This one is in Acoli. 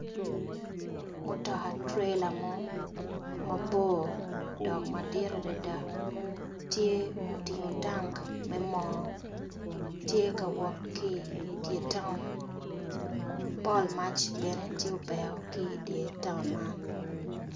Mutoka trailer mo mabor dok madit adada tye otingo tank me mo tye ka wok ki dyer town pol mac bene tye obeo ki dyer town man.